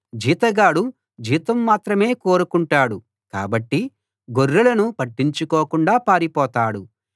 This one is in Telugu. జీతగాడు జీతం మాత్రమే కోరుకుంటాడు కాబట్టి గొర్రెలను పట్టించుకోకుండా పారిపోతాడు